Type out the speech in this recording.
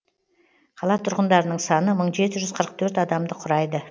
қала тұрғындарының саны мың жеті жүз қырық төрт адамды құрайды